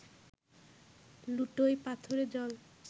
লুটোয় পাথরে জল